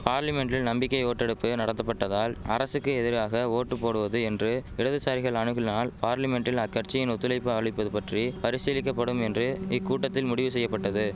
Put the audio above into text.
பார்லிமென்ட்டில் நம்பிக்கை ஓட்டெடுப்பு நடத்தப்பட்டால் அரசுக்கு எதிராக ஓட்டு போடுவது என்று இடதுசாரிகள் அணுகுனால் பார்லிமென்ட்டில் அக்கட்சியுடன் ஒத்துழைப்பு அளிப்பது பற்றி பரிசீலிக்க படும் என்று இக்கூட்டத்தில் முடிவு செய்ய பட்டது